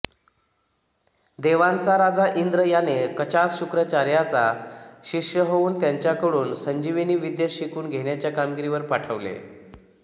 देवांचा राजा इंद्र याने कचास शुक्राचार्यांचा शिष्य होऊन त्यांच्याकडून संजीवनीविद्या शिकून घेण्याच्या कामगिरीवर पाठवले